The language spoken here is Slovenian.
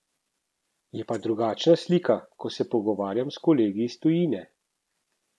Je pa drugačna slika, ko se pogovarjam s kolegi iz tujine.